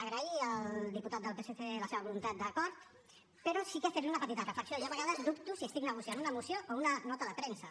agrair al diputat del psc la seva voluntat d’acord però sí que fer li una petita reflexió jo a vegades dubto si estic negociant una moció o una nota de premsa